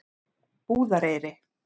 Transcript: Búðareyri